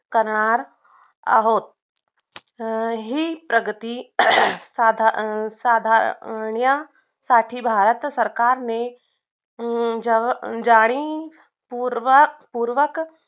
करणार आहोत हम्म हि प्रगती साधा अं साधा अं साठी भारत सरकारने अं जेव्हा जाणीवपूर्वक